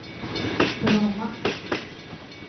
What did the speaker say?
Bromma